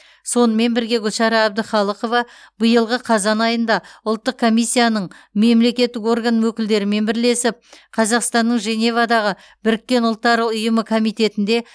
сонымен бірге гүлшара әбдіқалықова биылғы қазан айында ұлттық комиссияның мемлекеттік орган өкілдерімен бірлесіп қазақстанның женевадағы біріккен ұлттар ұйымы комитетінде